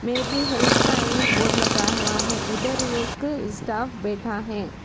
Maybe help का एक board लगा हुआ है उधर एक स्टाफ बैठा है।